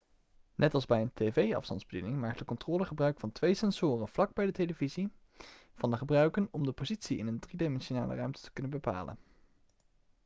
net als bij een tv-afstandsbediening maakt de controller gebruik van twee sensoren vlak bij de televisie van de gebruiken om de positie in een driedimensionale ruimte te kunnen bepalen